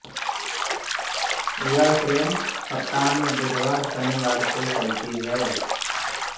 यह ट्रेन सप्ताह में बुधवार शनिवार को चलती है